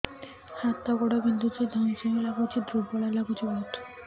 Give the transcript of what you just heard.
ହାତ ଗୋଡ ବିନ୍ଧୁଛି ଧଇଁସଇଁ ଲାଗୁଚି ଦୁର୍ବଳ ଲାଗୁଚି ବହୁତ